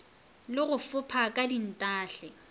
le go fopha ka dintahle